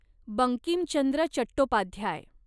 Bankim Chandra Chattopadhyay